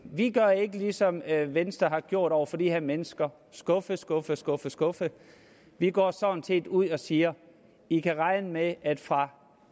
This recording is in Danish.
vi gør ikke ligesom venstre har gjort over for de her mennesker skuffe skuffe skuffe skuffe vi går sådan set ud og siger i kan regne med at fra